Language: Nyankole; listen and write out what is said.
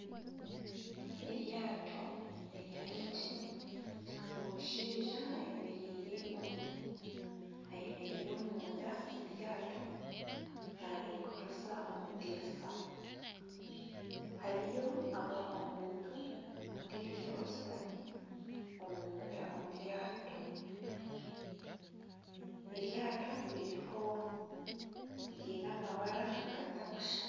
Eryaato erya engine omushaija ayemereire omunda aha ryaato naringuririza omudirisa hariyo omuntu ondiijo ashutami omunda omuryaato eryaato riine amabara gatarikushushana .